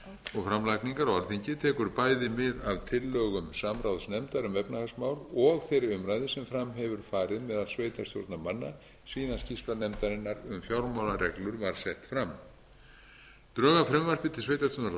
og framlagningar á alþingi tekur bæði mið af tillögum samráðsnefndar um efnahagsmál og þeirri umræðu sem fram hefur farið meðal sveitarstjórnarmanna síðan skýrsla nefndarinnar um fjármálareglur var sett fram drög að frumvarpi til sveitarstjórnarlaga voru birt á